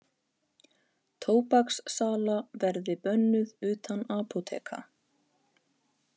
Tóbakssala verði bönnuð utan apóteka